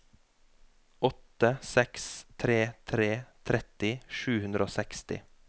åtte seks tre tre tretti sju hundre og seksti